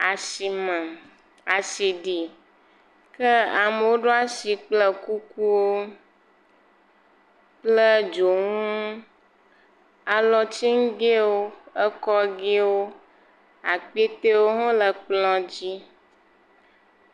Asi me asi ɖi, ke amewo ɖo asi kple kukuwo, kple dzonu, alɔtiŋgewo, ekɔgewo akpetewo hã le kplɔ dzi.